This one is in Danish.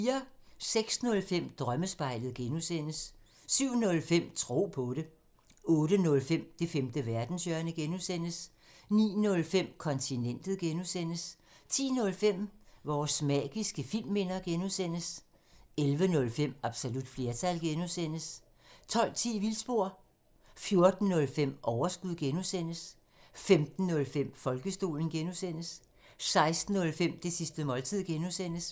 06:05: Drømmespejlet (G) 07:05: Tro på det 08:05: Det femte verdenshjørne (G) 09:05: Kontinentet (G) 10:05: Vores magiske filmminder (G) 11:05: Absolut flertal (G) 12:10: Vildspor 14:05: Overskud (G) 15:05: Folkedomstolen (G) 16:05: Det sidste måltid (G)